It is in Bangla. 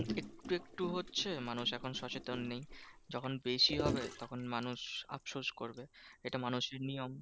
একটু একটু হচ্ছে মানুষ এখন সচেতন নেই। যখন বেশি হবে তখন মানুষ আফসোস করবে এটা মানুষের নিয়ম।